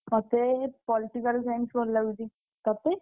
ମତେ Political Science ଭଲ ଲାଗୁଚି। ତତେ?